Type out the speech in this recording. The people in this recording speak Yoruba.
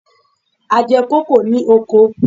A jẹ kókò ní oko.